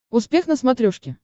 успех на смотрешке